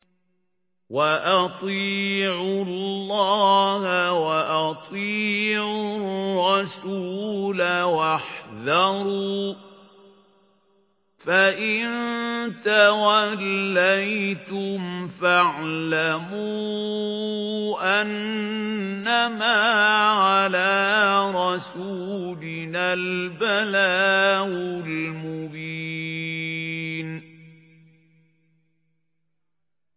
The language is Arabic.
وَأَطِيعُوا اللَّهَ وَأَطِيعُوا الرَّسُولَ وَاحْذَرُوا ۚ فَإِن تَوَلَّيْتُمْ فَاعْلَمُوا أَنَّمَا عَلَىٰ رَسُولِنَا الْبَلَاغُ الْمُبِينُ